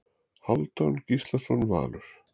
Hálfdán Gíslason Valur